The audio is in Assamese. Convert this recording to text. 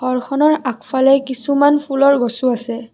ঘৰখনৰ আগফালে কিছুমান ফুলৰ গছও আছে।